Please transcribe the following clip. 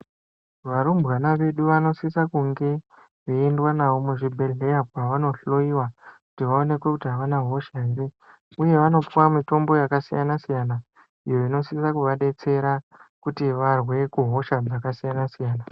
Varumbwana vedu vanosisa kunge veyiendwa navo muzvibhehlera kwavanohloyiva kuti vaonekwe kuti avana hosha here uye vanopuva mitombo yakasiyana siyana iyo inosise kuvadetsera kuti varwe kuhosha dzakasiyana siyana.